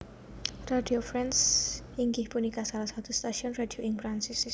Radio France inggih punika salah satu stasiun radio ing Prancis